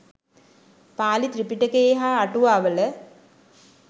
පාලි ත්‍රිපිටකයේ හා අටුවාවල